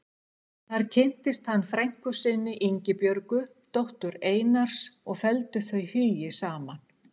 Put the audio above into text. Þar kynntist hann frænku sinni, Ingibjörgu, dóttur Einars og felldu þau hugi saman.